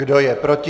Kdo je proti?